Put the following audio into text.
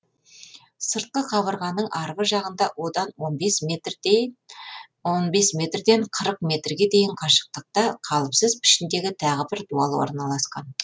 сыртқы қабырғаның арғы жағында одан он бес метрден қырық метрге дейін қашықтықта қалыпсыз пішіндегі тағы бір дуал орналасқан